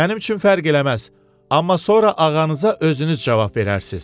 Mənim üçün fərq eləməz, amma sonra ağanıza özünüz cavab verərsiz.